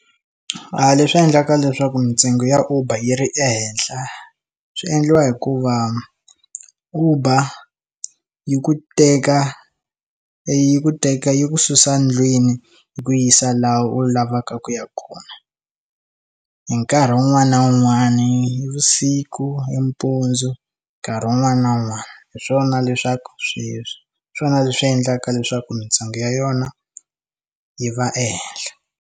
A leswi endlaka leswaku mintsengo ya uber yi ri ehenhla swi endliwa hikuva uber yi ku teka yi ku teka yi ku susa ndlwini yi ku yisa laha u lavaka ku ya kona hi nkarhi wun'wani na wun'wani vusiku i mpundzu nkarhi wun'wani na wun'wani hi swona leswaku sweswi swona leswi endlaka leswaku mintsengo ya yona yi va ehenhla.